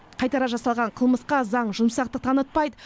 қайтара жасалған қылмысқа заң жұмсақтық танытпайды